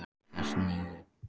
Gestný, hvað er klukkan?